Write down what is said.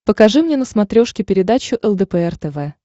покажи мне на смотрешке передачу лдпр тв